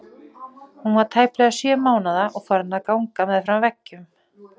Hún var tæplega sjö mánaða og farin að ganga með fram veggjum.